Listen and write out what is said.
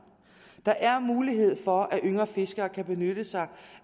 der er mulighed for at yngre fiskere kan benytte sig